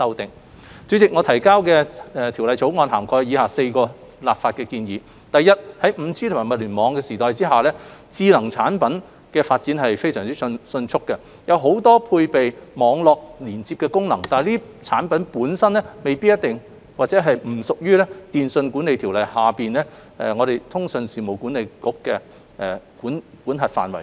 代理主席，我們提交的《條例草案》涵蓋以下4項立法建議：第一，在 5G 及物聯網時代下，智能產品發展迅速，很多配備網絡連接功能，但這些產品本身並不屬於《電訊條例》下通訊事務管理局的管轄範圍。